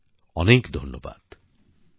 অনেক অনেক ধন্যবাদ